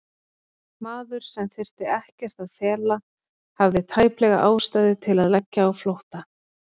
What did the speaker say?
Maður, sem þyrfti ekkert að fela, hafði tæplega ástæðu til að leggja á flótta?